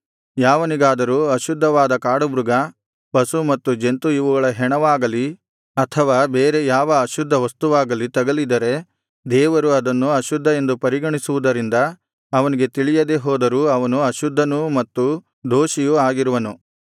ಯಾವನಿಗಾದರೂ ಅಶುದ್ಧವಾದ ಕಾಡುಮೃಗ ಪಶು ಮತ್ತು ಜಂತು ಇವುಗಳ ಹೆಣವಾಗಲಿ ಅಥವಾ ಬೇರೆ ಯಾವ ಅಶುದ್ಧವಸ್ತುವಾಗಲಿ ತಗಲಿದರೆ ದೇವರು ಅದನ್ನು ಅಶುದ್ಧ ಎಂದು ಪರಿಗಣಿಸುವುದರಿಂದ ಅವನಿಗೆ ತಿಳಿಯದೆ ಹೋದರೂ ಅವನು ಅಶುದ್ಧನೂ ಮತ್ತು ದೋಷಿಯೂ ಆಗಿರುವನು